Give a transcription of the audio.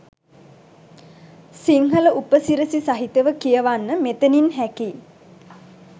සිංහල උපසිරැසි සහිතව කියවන්න මෙතැනින් හැකියි